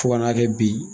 Fo ka n'a kɛ bi